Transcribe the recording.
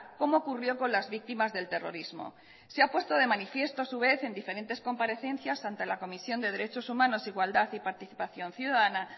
como ocurrió con las víctimas del terrorismo se ha puesto de manifiesto a su vez en diferentes comparecencias ante la comisión de derechos humanos igualdad y participación ciudadana